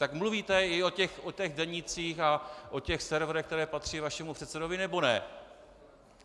Tak mluvíte i o těch denících a o těch serverech, které patří vašemu předsedovi, nebo ne?